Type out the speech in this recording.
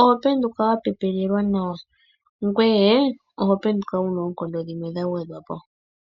oho penduka wa pepelelwa nawa, ngoye oho penduka wu na oonkondo dhimwe dha gwedhwa po.